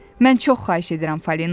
Mən çox xahiş edirəm Falina.